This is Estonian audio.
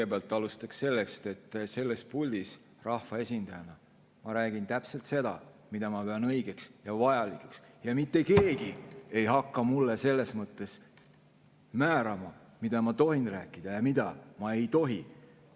Ma alustan sellest, et selles puldis ma rahvaesindajana räägin täpselt seda, mida ma pean õigeks ja vajalikuks, ja mitte keegi ei hakka selles mõttes määrama, mida ma tohin rääkida ja mida ma ei tohi.